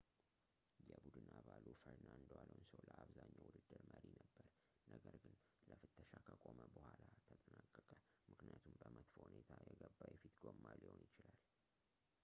የቡድን አባሉ ፈርናንዶ ኣሎንሶ ለአብዛኛው ውድድር መሪ ነበረ ነገር ግን ለፍተሻ ከቆመ ቡኃላ ተጠናቀቀ ምክኒያቱም በመጥፎ ሁኔታ የገባ የፊት ጎማ ሊሆን ይችላል